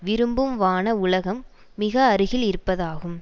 விரும்பும் வான உலகம் மிக அருகில் இருப்பதாகும்